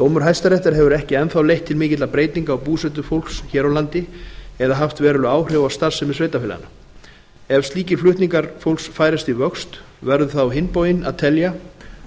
dómur hæstaréttar hefur ekki enn þá leitt til mikilla breytinga á búsetu fólks hér á landi eða haft veruleg áhrif á starfsemi sveitarfélaganna ef slíkir flutningar fólks færast í vöxt verður það á hinn bóginn að telja